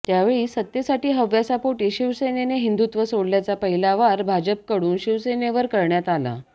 त्यावेळी सत्तेसाठी हव्यासापोटी शिवसेनेने हिंदुत्व सोडल्याचा पहिला वार भाजपकडून शिवसेनेवर करण्यात आला